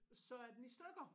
Så er den i stykker